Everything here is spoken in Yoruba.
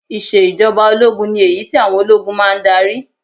Ìṣe ìjọba ológun ni èyí tí àwọn ológun máa ń darí